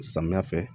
Samiya fɛ